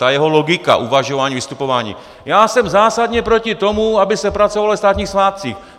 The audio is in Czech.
Ta jeho logika uvažování, vystupování: Já jsem zásadně proti tomu, aby se pracovalo ve státních svátcích.